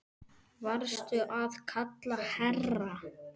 Varstu að kalla, herra?